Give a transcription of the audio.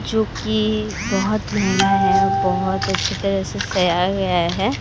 चुकी बहोत महंगा है बहोत अच्छी तरह से तैयार हुआ है।